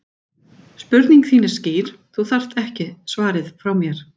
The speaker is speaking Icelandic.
Spurningin þín er skýr, þú þarft ekki svarið frá mér.